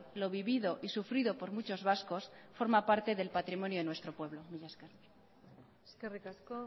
lo vivido y sufrido por muchos vascos forma parte del patrimonio de nuestro pueblo mila esker eskerrik asko